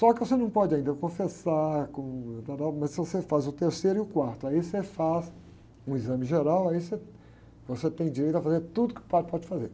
Só que você não pode ainda confessar com, mas se você faz o terceiro e o quarto, aí você faz um exame geral, aí você, você tem direito a fazer tudo que o padre pode fazer.